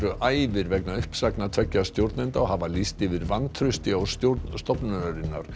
æfir vegna uppsagna tveggja stjórnenda og hafa lýst yfir vantrausti á stjórn stofnunarinnar